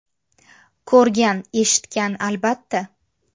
Ko‘rgan, eshitgan, albatta.